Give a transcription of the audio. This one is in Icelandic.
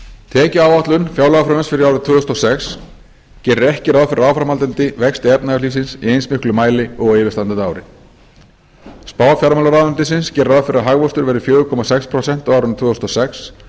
tekjuáætlun fjárlagafrumvarps fyrir árið tvö þúsund og sex gerir ekki ráð fyrir áframhaldandi vexti efnahagslífsins í eins miklum mæli og á yfirstandandi ári spá fjármálaráðuneytisins gerir ráð fyrir að hagvöxtur verði fjögur komma sex prósent á árinu tvö þúsund og sex samanborið